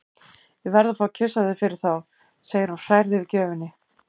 Ég verð að fá að kyssa þig fyrir þá, segir hún hrærð yfir gjöfinni.